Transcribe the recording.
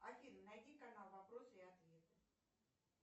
афина найди канал вопросы и ответы